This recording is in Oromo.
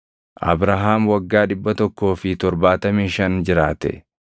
Abrahaam waggaa dhibba tokkoo fi torbaatamii shan jiraate.